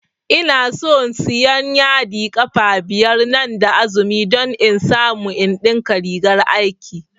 Inason siyan yadi ƙafa biyar nan da azumi don in samu in ɗinka rigar aiki